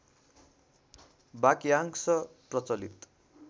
वाक्यांश प्रचलित